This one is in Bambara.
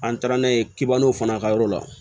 An taara n'a ye kibolonw fana ka yɔrɔ la